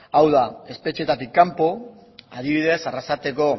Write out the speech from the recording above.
hau da espetxeetatik kanpo adibidez arrasateko